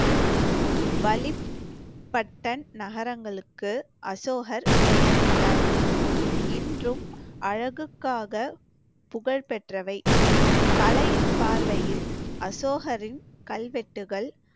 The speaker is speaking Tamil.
நகரங்களுக்கு அசோகர் பெயரிட்டார். இன்றும் அழகுக்காக புகழ் பெற்றவை. கலையின் பார்வையில் அசோகரின் கல்வெட்டுகள்